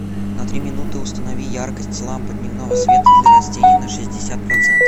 на три минуты установи яркость лампа дневного света для растений на шестьдесят процентов